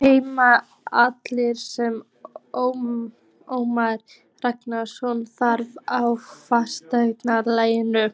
Heimir: Allt sem Ómar Ragnarsson þarf á ferðalaginu?